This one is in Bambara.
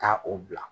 Taa o bila